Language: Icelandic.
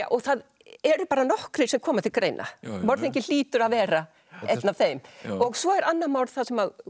og það eru bara nokkrir sem koma til greina morðinginn hlýtur að vera einn af þeim og svo er annað morð þar sem